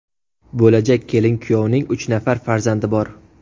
Bo‘lajak kelin-kuyovning uch nafar farzandi bor.